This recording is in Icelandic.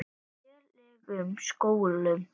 lélegum skólum.